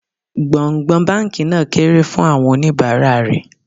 Gbọ̀ǹgbọ̀ǹ báńkì náà kéré fún àwọn oníbàárà rè.